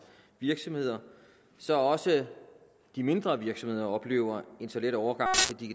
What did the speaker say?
virksomheder så også de mindre virksomheder oplever en så let overgang